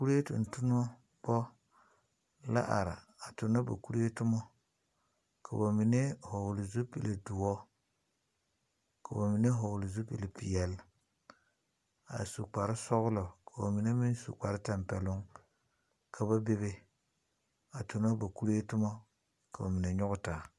Kurɛ tontonobɔ la are a tono ba kurɛ toma. Ka ba mene vogle zupul duor, ka ba mene vogle zupul piɛle a su kpar sɔglɔ. Ka ba mene meŋ su kpar tampɛluŋ. Ka ba bebe a tona ba kurɛ toma. Ka ba mene yɔge taa.